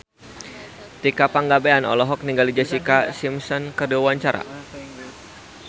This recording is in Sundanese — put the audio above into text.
Tika Pangabean olohok ningali Jessica Simpson keur diwawancara